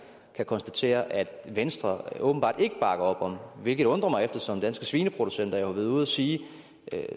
kan konstatere at venstre åbenbart ikke bakker op om hvilket undrer mig eftersom danske svineproducenter jo ordret har været ude at sige